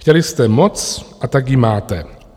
Chtěli jste moc, a tak ji máte.